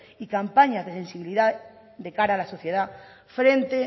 y campañas de sensibilidad de cara a la sociedad frente